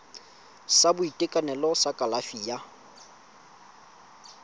sa boitekanelo sa kalafi ya